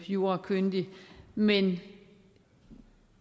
jurakyndig men